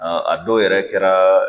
a dɔw yɛrɛ kɛra